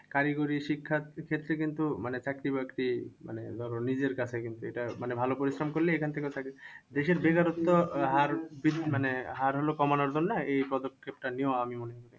কারিগরি শিক্ষার ক্ষেত্রে কিন্তু মানে চাকরি বাকরি মানে ধরো নিজের কাছে কিন্তু এটা মানে ভালো পরিশ্রম করলেই এখন থেকে চাকরি। দেশের বেকারত্ব হার মানে আর হলো কমানোর জন্য এই পদক্ষেপটা নেওয়া আমি মনে করি।